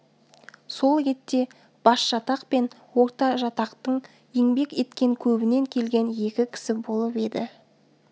сол ретте басжатақ пен ортажатақтың еңбек еткен көбінен келген екі кісі болып еді